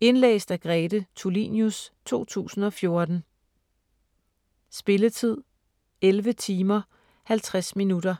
Indlæst af Grete Tulinius, 2014. Spilletid: 11 timer, 50 minutter.